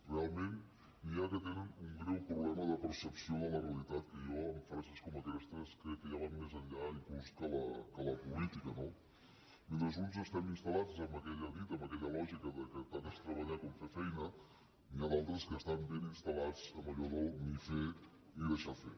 realment n’hi ha que tenen un greu problema de percepció de la realitat que jo amb frases com aquestes crec que ja van més enllà inclús de la política no mentre uns estem instal·lats en aquella dita en aquella lògica que tant és treballar com fer feina n’hi ha d’altres que estan ben instal·fer ni deixar fer